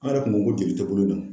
An yɛrɛ kun ko ko jeli tɛ bolo in na.